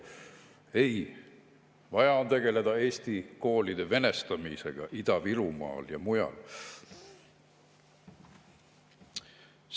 Ei, vaja on tegeleda eesti koolide venestamisega Ida-Virumaal ja mujal.